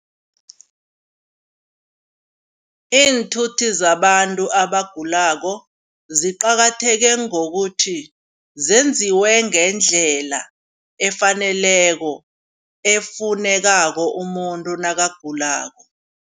Iinthuthi zabantu abagulako ziqakatheke ngokuthi zenziwe ngendlela efaneleko efunekako umuntu nakagulako.